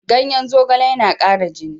Ganyen zogale yana ƙara jini.